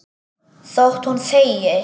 Þótt hún þegi.